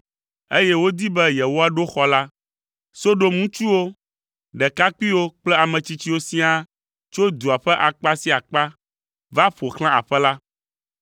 eye wodi be yewoaɖo xɔ la, Sodom ŋutsuwo, ɖekakpuiwo kple ame tsitsiwo siaa tso dua ƒe akpa sia akpa va ƒo xlã aƒe la,